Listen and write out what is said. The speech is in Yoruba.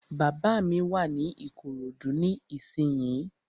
Bàbá mi wà ní Ìkòròdú ní ìsínyi